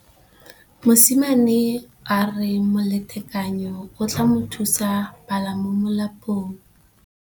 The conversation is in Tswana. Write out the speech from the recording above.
Mosimane a re molatekanyô o tla mo thusa go bala mo molapalong.